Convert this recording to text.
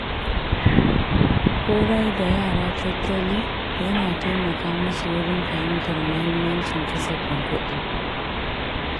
Horar da yara tattali yana taimaka musu wurin fahimtar mahimmancin kasafin kuɗi.